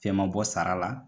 Fɛn ma bɔ sara la.